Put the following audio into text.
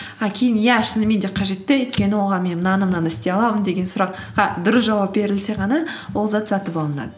а кейін иә шынымен де қажетті өйткені оған мен мынаны мынаны істей аламын деген сұраққа дұрыс жауап берілсе ғана ол зат сатып алынады